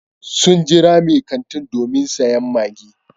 Sun jira mai kantin domin sayen maggi.